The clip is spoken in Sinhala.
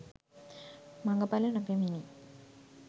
මඟඵල නොපැමිණි